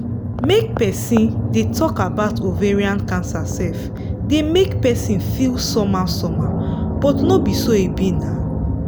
make persin dey talk about ovarian cancer sef dey make persin feel somehow somehow but no be so e be now